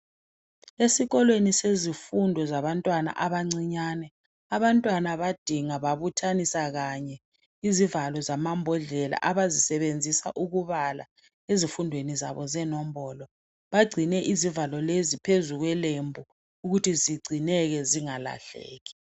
Esikolweni sezifundo zabantwana abancinyane. Abantwana badinga babuthanisa kanye izivalo zamambodlela abazisebenzisa ukubala ezifundweni zabo zenombolo. Bagcine izivalo lezi phezulu kwelembu ukuthi zigcineke zingalahleki.